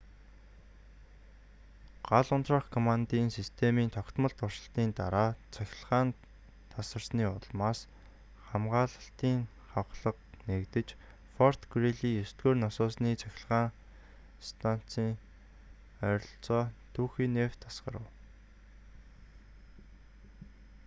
гал унтраах командын системийн тогтмол туршилтын дараа цахилгаан тасарсны улмаас хамгаалалтын хавхлаг нээгдэж форт грийли 9-р насосны станцын ойролцоо түүхий нефть асгарав